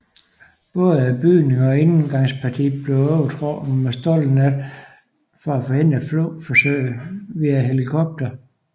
Både bygningen og indgangspartiet blev overtrukket med stålnet for at forhindre flugtforsøg via helikopter